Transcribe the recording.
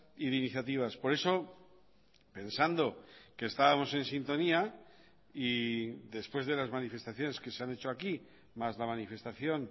y de iniciativas por eso pensando que estábamos en sintonía y después de las manifestaciones que se han hecho aquí más la manifestación